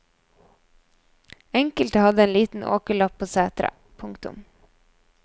Enkelte hadde en liten åkerlapp på setra. punktum